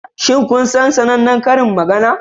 Shin kun san sanannen karin magana?